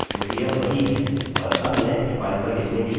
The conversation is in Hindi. और अब मैं इस फाइल पर लिखने के लिए बोलूँगा